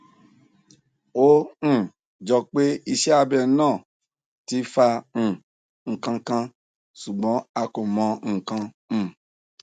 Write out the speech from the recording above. ó um jọ pé iṣẹ abẹ náà náà ti fa um nkan kan ṣùgbọn a kò mọ nkan um